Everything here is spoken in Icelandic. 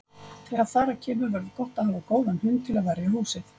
Þegar þar að kemur verður gott að hafa góðan hund til að verja húsið.